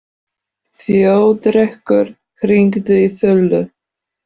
Þjóðrekur, hringdu í Þulu.